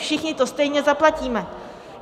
Všichni to stejně zaplatíme!